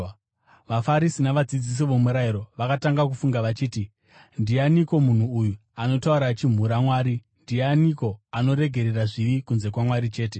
VaFarisi navadzidzisi vomurayiro vakatanga kufunga vachiti, “Ndianiko munhu uyu anotaura achimhura Mwari. Ndianiko anoregerera zvivi kunze kwaMwari chete?”